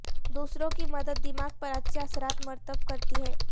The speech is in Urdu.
دوسروں کی مدد دماغ پر اچھے اثرات مرتب کرتی ہے